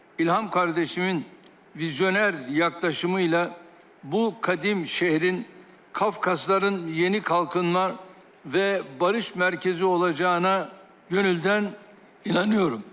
İlham qardaşımın vizioner yaxınlaşımıyla bu qədim şəhərin Qafqazların yeni qalxınma və barış mərkəzi olacağına könüldən inanıram.